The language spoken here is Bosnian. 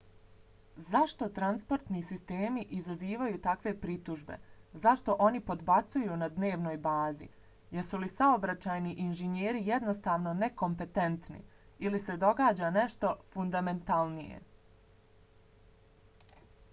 zašto transportni sistemi izazivaju takve pritužbe zašto oni podbacuju na dnevnoj bazi? jesu li saobraćajni inženjeri jednostavno nekompetentni? ili se događa nešto fundamentalnije?